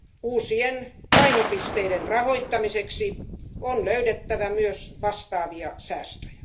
Uusien painopisteiden rahoittamiseksi on löydettävä myös vastaavia säästöjä.